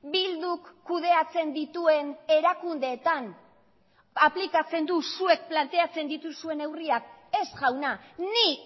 bilduk kudeatzen dituen erakundeetan aplikatzen du zuek planteatzen dituzuen neurriak ez jauna ni